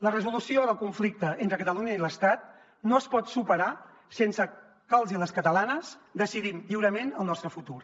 la resolució del conflicte entre catalunya i l’estat no es pot superar sense que els i les catalanes decidim lliurement el nostre futur